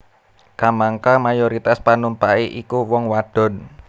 Kamangka mayoritas panumpaké iku wong wadon